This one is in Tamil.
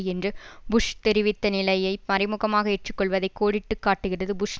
என்று புஷ் தெரிவித்த நிலையை மறைமுகமாக ஏற்று கொள்வதை கோடிட்டு காட்டுகிறது புஷ்